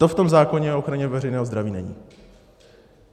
To v tom zákoně o ochraně veřejného zdraví není.